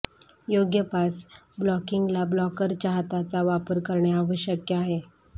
योग्य पास ब्लॉकिंगला ब्लॉकरच्या हाताचा वापर करणे आवश्यक आहे